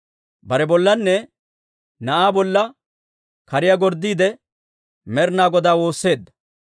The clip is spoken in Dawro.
Bare bollanne na'aa bollanne kariyaa gorddiide, Med'ina Godaa woosseedda.